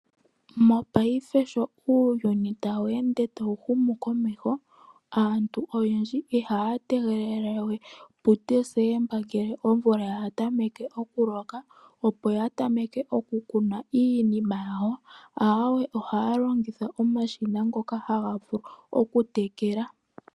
Mopaife sho uuyuni tawu ende tawu humu komeho, aantu oyendji ihaya tegelele we puDesemba ngele omvula ya tameke okuloka opo ya tameke oku kuna iinima yawo, awee, ohaya longitha omashina ngoka haga vulu oku tekela.